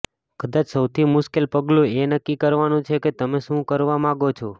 કદાચ સૌથી મુશ્કેલ પગલું એ નક્કી કરવાનું છે કે તમે શું કરવા માગો છો